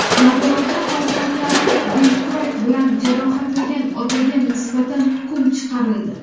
Navoiyda farzandlarini belkurak bilan jarohatlagan otaga nisbatan hukm chiqarildi.